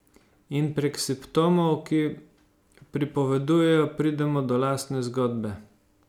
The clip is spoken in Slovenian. In prek simptomov, ki pripovedujejo, pridemo do lastne zgodbe.